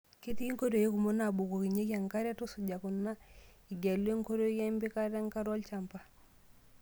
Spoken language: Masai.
Ketii nkoitoi kumok naabukokinyeki enkare. Tusuja kuna igelu enkoitoi empikata enkare olchamba